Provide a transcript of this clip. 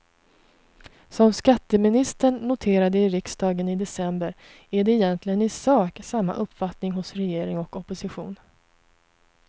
Som skatteministern noterade i riksdagen i december är det egentligen i sak samma uppfattning hos regering och opposition.